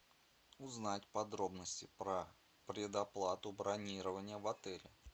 узнать подробности про предоплату бронирования в отеле